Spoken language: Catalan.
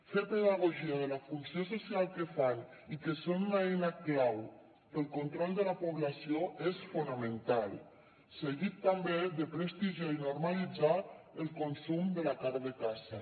fer pedagogia de la funció social que fan i que són una eina clau per al control de la població és fonamental seguit també de prestigiar i normalitzar el consum de la carn de caça